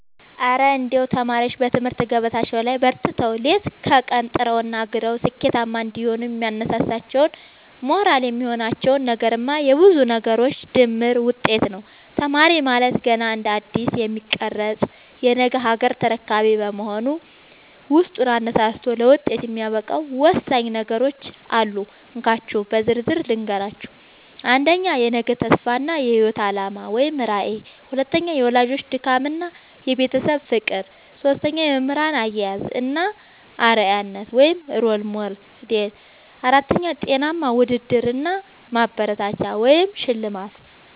እረ እንደው ተማሪዎች በትምህርት ገበታቸው ላይ በርትተው፣ ሌት ከቀን ጥረውና ግረው ስኬታማ እንዲሆኑ የሚያነሳሳቸውና ሞራል የሚሆናቸው ነገርማ የብዙ ነገሮች ድምር ውጤት ነው! ተማሪ ማለት ገና እንደ አዲስ የሚቀረጽ የነገ ሀገር ተረካቢ በመሆኑ፣ ውስጡን አነሳስቶ ለውጤት የሚያበቃው ወሳኝ ነገሮች አሉ፤ እንካችሁ በዝርዝር ልንገራችሁ - 1. የነገ ተስፋ እና የህይወት አላማ (ራዕይ) 2. የወላጆች ድካምና የቤተሰብ ፍቅር 3. የመምህራን አያያዝ እና አርአያነት (Role Model) 4. ጤናማ ውድድር እና ማበረታቻ (ሽልማት)